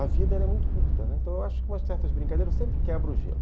A vida é muito curta, né, então eu acho que umas certas brincadeiras sempre quebram o gelo.